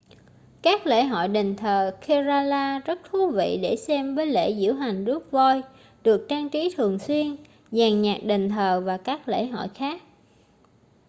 các lễ hội đền thờ kerala rất thú vị để xem với lễ diễu hành rước voi được trang trí thường xuyên dàn nhạc đền thờ và các lễ hội khác